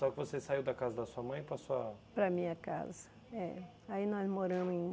Só que você saiu da casa da sua mãe para sua... Para a minha casa, é. Aí nós moramos em...